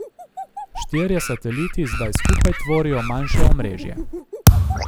Štirje sateliti zdaj skupaj tvorijo manjše omrežje.